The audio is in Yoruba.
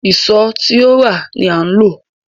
Ìṣó tí ó rà ni a ó lò